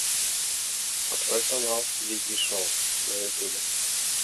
открой канал вики шоу на ютубе